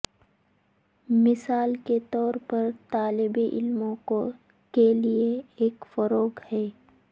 مثال کے طور پر طالب علموں کے لئے ایک فروغ ہے